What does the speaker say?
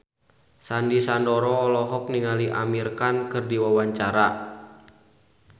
Sandy Sandoro olohok ningali Amir Khan keur diwawancara